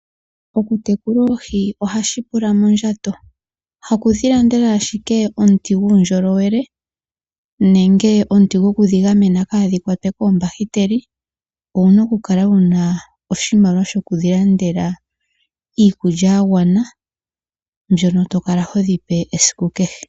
Okutekula oohi ohaku pula mondjato haku dhi landela ashike omuti guundjolowele nenge omuti gokudhi gamena kaadhi kwatwe koombakiteli owuna okukala wuna oshimaliwa shoku chi landela iikulya ya gwana mbyoka to kala ho dhi pe esiku kehe.